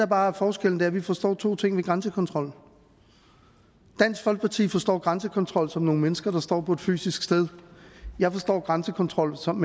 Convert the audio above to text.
bare er forskellen er at vi forstår to ting ved grænsekontrol dansk folkeparti forstår grænsekontrol som nogle mennesker der står på et fysisk sted jeg forstår grænsekontrol som